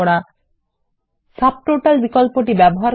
কিভাবে সাবটোটালস ব্যবহার